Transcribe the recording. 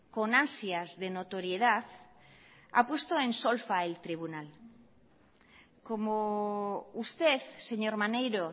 con ansias de notoriedad ha puesto en solfa el tribunal como usted señor maneiro